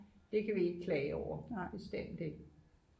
det kan vi ikke klage over bestemt ikke